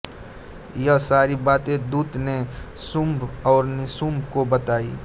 यह सारी बाते दूत ने शुम्भ और निशुम्भ को बताई